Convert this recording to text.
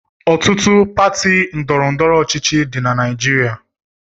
Ọtụtụ pati ndọrọndọrọ ọchịchị dị na Naịjirịa.